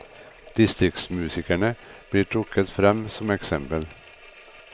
Distriktsmusikerne blir trukket frem som eksempel.